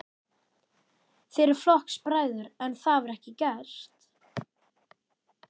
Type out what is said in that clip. Þið eruð flokksbræður, en það var ekki gert?